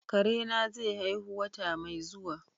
Kare na zai haihu wata mai zuwa.